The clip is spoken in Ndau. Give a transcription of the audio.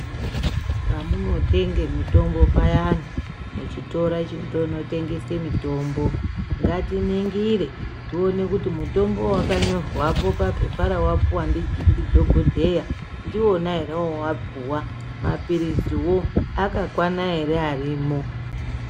Pamunotenga mitombo payani muchitoro chinotengesa mitombo ngatiningire tione kuti mutombo wakanyorwapo papepa rawapiwa ndidhokodheya ndiwona ere wawapuwa mapiriziwo akakwana ere arimo.